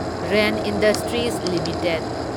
rain industries limited